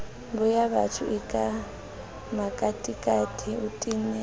boyabatho eka makatikati o tena